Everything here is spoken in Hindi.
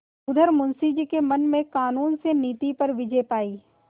उधर मुंशी जी के मन ने कानून से नीति पर विजय पायी